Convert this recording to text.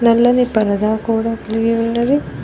నల్లని పరదా కూడా కలిగి ఉన్నది.